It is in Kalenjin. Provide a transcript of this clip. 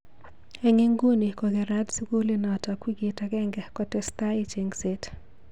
Eng inguni ko kerat sukulinotok wikit agenge kotestai chengset.